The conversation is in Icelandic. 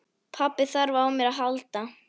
Pabbi þarf á mér að halda.